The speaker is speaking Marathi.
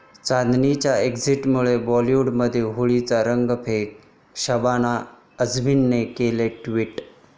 चांदनी'च्या एक्झिटमुळे बाॅलिवूडमध्ये होळीचे रंग फिके, शबाना आझमींनी केलं ट्विट